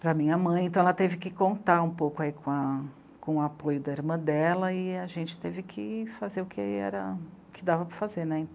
para a minha mãe, então ela teve que contar um pouco aí com a com o apoio da irmã dela e a gente teve que fazer o que dava para fazer.